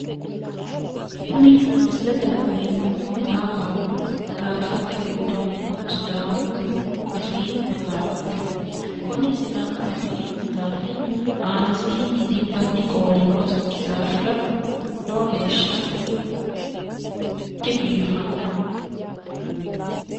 Kuni misilete la'neemmohu maxaafaho maxaaffate giddono sidaamu afii maxafaati kuni sidaamu afii maxaafi aanasiinni dinbanni qooli noosikki daafira lowo geeshsha dibiifanno.